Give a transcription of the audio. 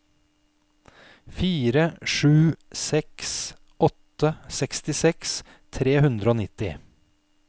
fire sju seks åtte sekstiseks tre hundre og nitti